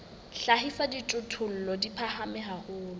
hlahisa dijothollo di phahame haholo